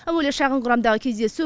әуелі шағын құрамдағы кездесу